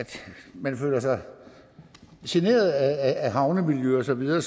man føler sig generet af havnemiljø og så videre